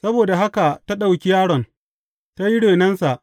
Saboda haka ta ɗauki yaron, ta yi renonsa.